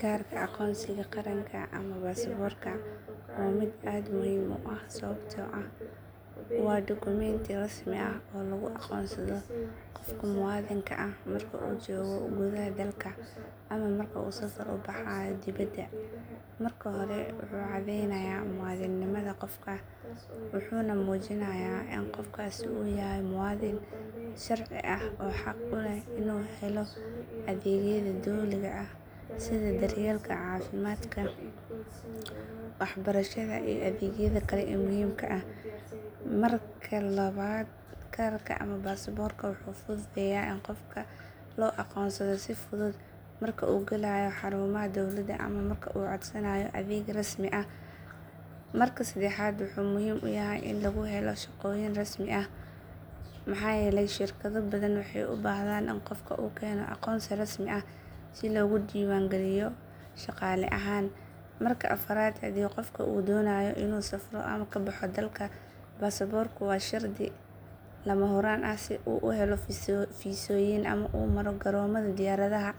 Kaarka aqoonsiga qaranka ama baasaboorka waa mid aad muhiim u ah sababtoo ah waa dukumeenti rasmi ah oo lagu aqoonsado qofka muwaadinka ah marka uu joogo gudaha dalka ama marka uu safar u baxayo dibadda. Marka hore, wuxuu caddeynayaa muwaadinnimada qofka wuxuuna muujinayaa in qofkaasi uu yahay muwaadin sharci ah oo xaq u leh inuu helo adeegyada dowliga ah sida daryeelka caafimaadka, waxbarashada, iyo adeegyada kale ee muhiimka ah. Marka labaad, kaarka ama baasaboorka wuxuu fududeeyaa in qofka loo aqoonsado si fudud marka uu galayo xarumaha dowladda ama marka uu codsanayo adeeg rasmi ah. Marka saddexaad, wuxuu muhiim u yahay in lagu helo shaqooyin rasmi ah maxaa yeelay shirkado badan waxay u baahdaan in qofka uu keeno aqoonsi rasmi ah si loogu diiwaangeliyo shaqaale ahaan. Marka afraad, haddii qofka uu doonayo inuu safro ama ka baxo dalka, baasaboorku waa shardi lama huraan ah si uu u helo fiisooyin ama u maro garoomada diyaaradaha.